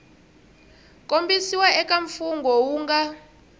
kombisiwa eka mfungho wu nga